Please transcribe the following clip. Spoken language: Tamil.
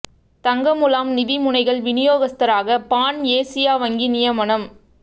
தங்க முலாம் நிதி முனைகள் விநியோகஸ்தராக பான் ஏசியா வங்கி நியமனம்